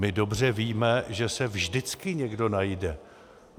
My dobře víme, že se vždycky někdo najde.